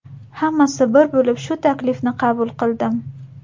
Hammasi bir bo‘lib, shu taklifni qabul qildim.